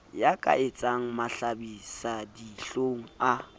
ya ka etsang mahlabisadihlong a